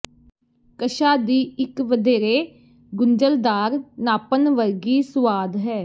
ਕਸ਼ਾ ਦੀ ਇੱਕ ਵਧੇਰੇ ਗੁੰਝਲਦਾਰ ਨਾਪਣ ਵਰਗੀ ਸੁਆਦ ਹੈ